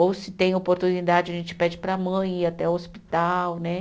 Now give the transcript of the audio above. Ou se tem oportunidade, a gente pede para a mãe ir até o hospital, né?